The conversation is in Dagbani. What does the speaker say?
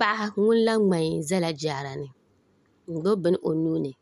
Paɣa ŋun la ŋmai bɛla jaarani n gbubi bin o nuuni